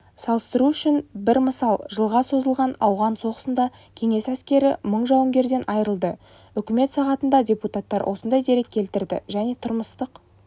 салыстыру үшін бір мысал жылға созылған ауған соғысында кеңес әскері мың жауынгерден айырылды үкімет сағатында депутаттар осындай дерек келтірді және тұрмыстық